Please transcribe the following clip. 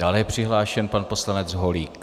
Dále je přihlášen pan poslanec Holík.